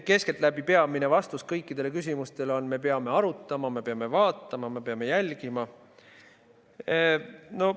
Keskeltläbi põhiline vastus kõikidele küsimustele on: me peame arutama, me peame vaatama, me peame jälgima.